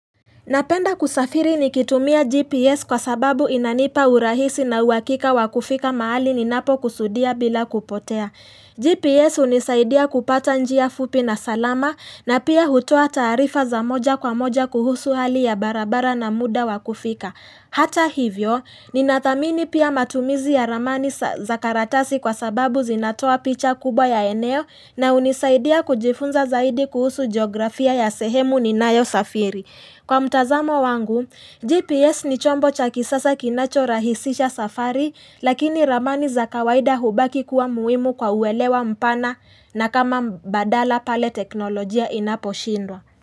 Napenda kusafiri nikitumia GPS kwa sababu inanipa urahisi na uwakika wa kufika mahali ninapo kusudia bila kupotea. GPS hunisaidia kupata njia fupi na salama na pia hutoa taarifa za moja kwa moja kuhusu hali ya barabara na muda wa kufika. Hata hivyo, ninathamini pia matumizi ya ramani za karatasi kwa sababu zinatoa picha kubwa ya eneo na hunisaidia kujifunza zaidi kuhusu geografia ya sehemu ninayo safiri. Kwa mtazamo wangu, GPS ni chombo cha kisasa kinacho rahisisha safari, lakini ramani za kawaida hubaki kuwa muhimu kwa uwelewa mpana na kama badala pale teknolojia inaposhindwa.